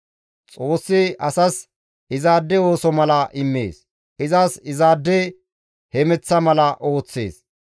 Xoossi asas izaade ooso mala immees; izas izaade hemeththa mala ooththees.